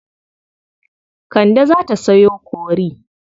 Kande za ta sayo kori.